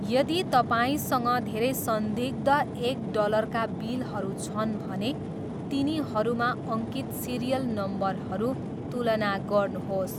यदि तपाईँसँग धेरै संदिग्ध एक डलरका बिलहरू छन् भने, तिनीहरूमा अङ्कित सिरियल नम्बरहरू तुलना गर्नुहोस्।